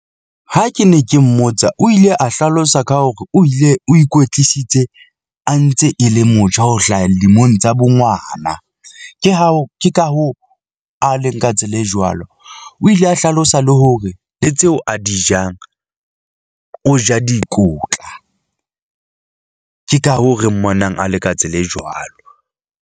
Ha ke ne ke mmotsa, o ile a hlalosa ka hore o ile o ikwetlisitse a ntse e le motjha. Ho hlaha dilemong tsa bo ngwana. Ke hao, ke ka hoo a leng ka tsela e jwalo, o ile a hlalosa le hore le tseo a di jang , o ja dikotla ke ka hoo re mmonang a le ka tsela e jwalo.